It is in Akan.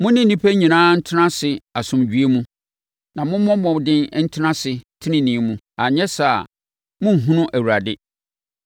Mo ne nnipa nyinaa ntena ase asomdwoeɛ mu, na mommɔ mmɔden ntena ase tenenee mu. Anyɛ saa a, morenhunu Awurade.